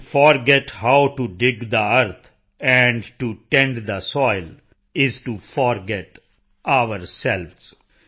to forget how to dig the earth and to tend the soil is to forget ourselves